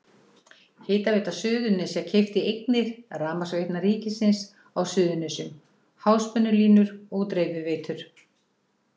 Hitaveita Suðurnesja keypti eignir Rafmagnsveitna ríkisins á Suðurnesjum, háspennulínur og dreifiveitur.